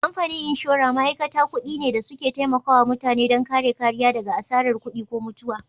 Kamfanin inshora ma'aikata kuɗi ne da suke taimakawa mutane don kare kariya daga asarar kuɗi ko mutuwa.